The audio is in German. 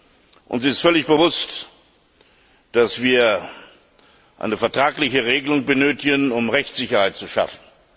Es ist uns völlig bewusst, dass wir eine vertragliche Regelung benötigen, um Rechtssicherheit zu schaffen.